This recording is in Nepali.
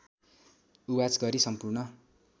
उवाच गरी सम्पूर्ण